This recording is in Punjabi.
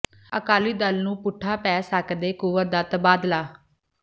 ਅਕਾਲੀ ਦਲ ਨੂੰ ਪੁੱਠਾ ਪੈ ਸਕਦੈ ਕੁੰਵਰ ਦਾ ਤਬਾਦਲਾ